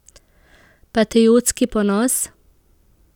Patriotski ponos?